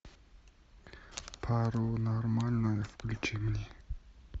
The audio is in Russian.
паранормальное включи мне